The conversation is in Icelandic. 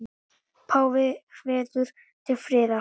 Páfi hvetur til friðar